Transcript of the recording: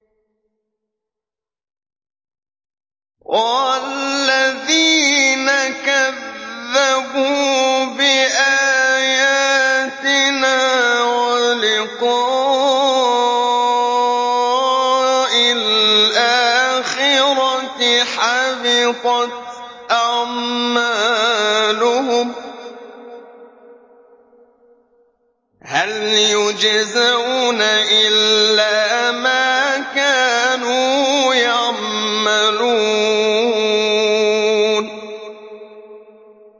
وَالَّذِينَ كَذَّبُوا بِآيَاتِنَا وَلِقَاءِ الْآخِرَةِ حَبِطَتْ أَعْمَالُهُمْ ۚ هَلْ يُجْزَوْنَ إِلَّا مَا كَانُوا يَعْمَلُونَ